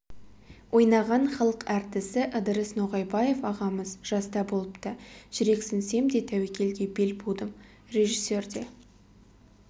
ойнаған халық әртісі ыдырыс ноғайбаев ағамыз жаста болыпты жүрексінсем де тәуекелге бел будым режиссер де